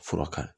Fura kan